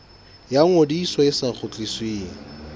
ya ngodiso e sa kgutlisweng